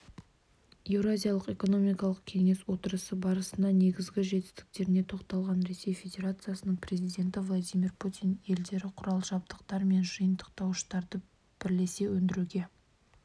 еуразиялық экономикалық кеңес отырысы барысында негізгі жетістіктеріне тоқталған ресей федерациясының президенті владимир путин елдердіқұрал-жабдықтар мен жиынтықтауыштарды бірлесе өндіруге